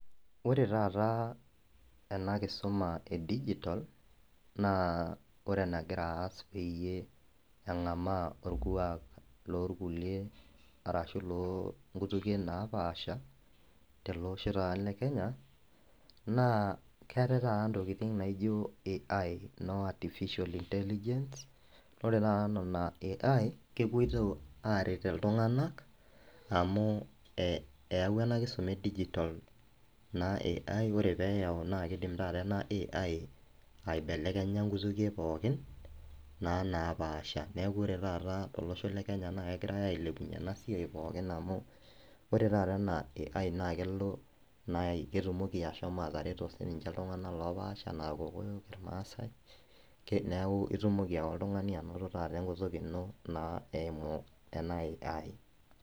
Ore taata ena Kisuma e digital naa ore enegira aaas pee eng'amaa orkuak loonkutukie naapasha tele osho lekenya naa keetai taata intokitin naijio AI artificial intelligence ore taata nena ai kepoito aaret iltung'anak amu eeyau ena kisuma e digital ore pee eyau keidim taata ena ai aibelekenya inkutukie pookin naaa naapasha neeku ore taata tolosho lekenya na kegirai ailepunyie ena siai pookin amu ore taata ena AI naa kelo naaji ketumoki ashomo atareto siininche iltung'anak loopaasha ena irmasai neeku itumoki ake oltung'ani anoto tenakata enkutuk ino eimu ena AI